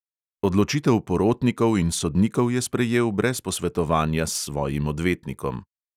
Odločitev porotnikov in sodnikov je sprejel brez posvetovanja s svojim odvetnikom.